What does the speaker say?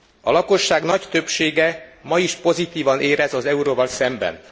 A lakosság nagy többsége ma is pozitívan érez az euróval szemben.